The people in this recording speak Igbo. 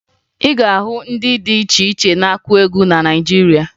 Ị ga-ahụ ndị dị iche iche na-akụ egwu na Naịjirịa